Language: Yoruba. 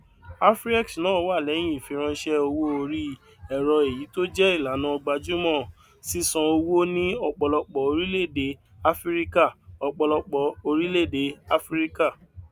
afriex náà wà lẹyìn ìfiránṣẹ owó orí ẹrọ èyí tó jẹ ìlànà gbajúmọ sísan owó ní ọpọlọpọ orílẹèdè áfíríkà ọpọlọpọ orílẹèdè áfíríkà